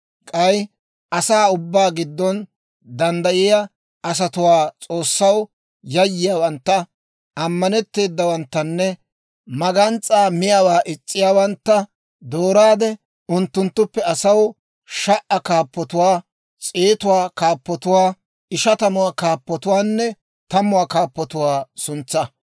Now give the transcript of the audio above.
K'ay asaa ubbaa giddon danddayiyaa asatuwaa, S'oossaw yayyiyaawantta, ammanetteedawanttanne magans's'aa miyaawaa is's'iyaawantta dooraade unttunttuppe asaw sha"aa kaappatuwaa, s'eetuwaa kaappatuwaa, ishatamuwaa kaappatuwaanne tammuwaa kaappatuwaa suntsaa.